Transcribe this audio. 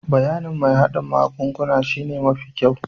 Bayanin mai hardin magunguna shine mafi kyau.